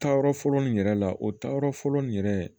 Taayɔrɔ fɔlɔ nin yɛrɛ la o taayɔrɔ fɔlɔ nin yɛrɛ